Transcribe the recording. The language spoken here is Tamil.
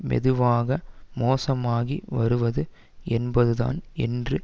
மெதுவாக மோசமாகி வருவது என்பது தான் என்று